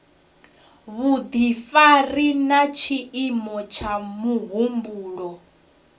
vhudifari na tshiimo tsha muhumbulo